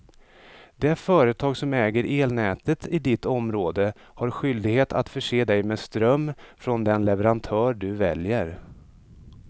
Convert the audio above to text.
Det företag som äger elnätet i ditt område har skyldighet att förse dig med ström från den leverantör du väljer.